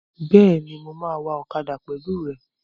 Bẹ́ẹ̀ni, mo máa wa ọ̀kadà pẹ̀lú rẹ